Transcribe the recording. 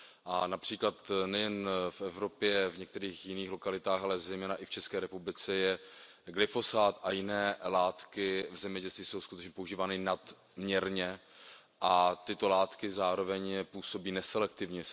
A například nejen v Evropě i v jiných lokalitách, a zejména i v České republice, jsou glyfosát a jiné látky v zemědělství skutečně používány nadměrně a tyto látky zároveň působí neselektivně.